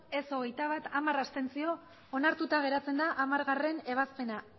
ez hogeita bat abstentzioak hamar onartuta geratzen da hamargarrena ebazpena